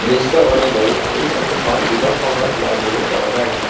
দৃশ্য অনুযায়ী এই ছবিখন দিনৰ সময়ত লোৱা বুলি কব পাৰি।